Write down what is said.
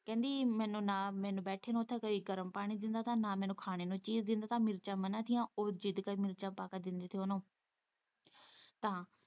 ਤਾਂ ਕਹਿੰਦੀ ਮੈਨੂੰ ਨਾ ਬੈਠੀ ਨੂੰ ਨਾ ਉੱਥੇ ਕੋਈ ਗਰਮ ਪਾਣੀ ਦਿੰਦਾ ਨਾ ਕੋਈ ਖਾਣੇ ਨੂੰ ਚੀਜ਼ ਦਿੰਦਾ ਤਾਂ ਮਿਰਚਾਂ ਮਨ੍ਹਾਂ ਸੀ ਉਹ ਜ਼ਿੱਦ ਕੇ ਮਿਰਚਾਂ ਪਾ ਕੇ ਦਿੰਦੀ ਸੀ ਉਹਨੂੰ ਤਾਂ।